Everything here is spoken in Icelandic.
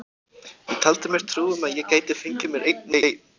Ég taldi mér trú um að ég gæti fengið mér einn og einn.